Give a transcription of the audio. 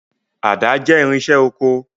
Àdá jẹ́ irinṣẹ́ oko.